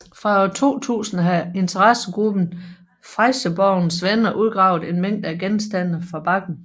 Fra år 2000 har interessegruppen Fresjeborgens Venner udgravet en mængde af genstande fra bakken